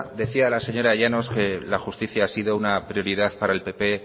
decía la señora llanos que la justicia ha sido una prioridad para el pp